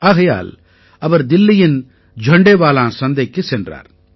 ஆகையால் அவர் தில்லியின் ஜண்டேவாலான் சந்தைக்குச் சென்றார்